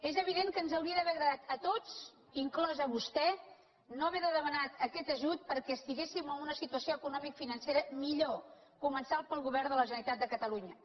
és evident que ens hauria d’ha·ver agradat a tots inclòs a vostè no haver de demanar aquest ajut perquè estiguéssim en una situació eco·nomicofinancera millor començant pel govern de la generalitat de catalunya